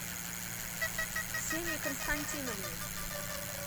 ксении константиновне